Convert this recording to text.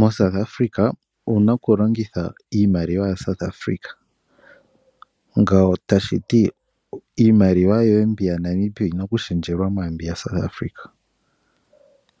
moSouth Africa owu na okulongitha iimaliwa yaSoutha Afrika. Sha hala okutya iimaliwa yoye yaNamibia oyi na okushendjelwa miimaliwa yaSouth Africa.